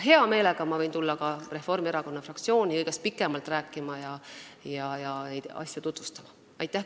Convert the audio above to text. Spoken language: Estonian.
Hea meelega võin ma tulla ka Reformierakonna fraktsiooni kõigest pikemalt rääkima ja neid asju tutvustama.